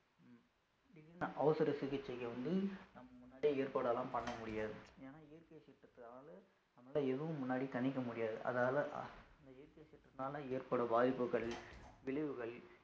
உம் திடீருன்னு அவசர சிகிச்சைக்கு வந்து நம்ம முன்னாடியே ஏற்பாடு எல்லாம் பண்ண முடியாது ஏன்னா இயற்கை சீற்றத்து அதாவது நம்மளால எதுவும் முன்னாடி கணிக்க முடியாது அதால அந்த இயற்கை சீற்றத்துனால ஏற்படும் வாய்ப்புகள் விளைவுகள்